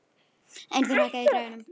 Einþór, hækkaðu í græjunum.